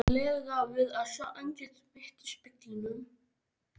lega við að sjá andlit mitt í speglinum.